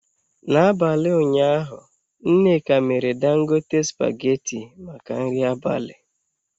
N'abalị ụnyaahụ nneka mere Dangote spaghetị maka nri abalị.